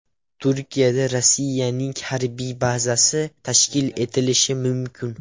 Turkiyada Rossiyaning harbiy bazasi tashkil etilishi mumkin.